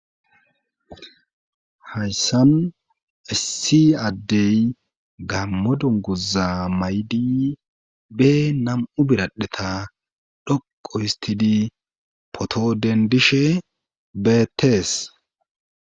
hayssan issi addey gammo dunguza maydi be nam7u biradheta dhoqu histidi poto den dishe beettees